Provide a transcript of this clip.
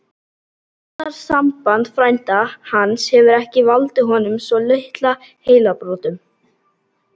Ástarsamband frænda hans hefur ekki valdið honum svo litlum heilabrotum!